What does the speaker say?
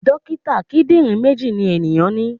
Dókítà kíndìnrín méjì ni ènìyàn ní.